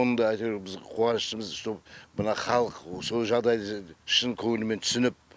оны да әйтеуір біз қуаныштымыз что мына халық со жағдайды шын көңілмен түсініп